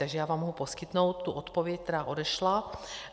Takže já vám mohu poskytnout tu odpověď, která odešla.